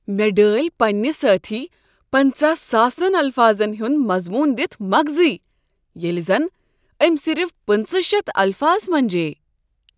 مےٚ ڈٲلۍ پنٛنہ سٲتھی پانژہ ساسن الفاظن ہنٛد مضمون دتھ مغٕزٕے ییٚلہ زن أمۍ صرف پٕنژہٕ شیتھ الفاظ منجییہِ